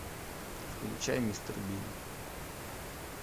включай мистер бин